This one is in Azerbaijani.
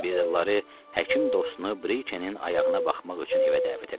Bir də Lara həkim dostunu Brikenin ayağına baxmaq üçün evə dəvət elədi.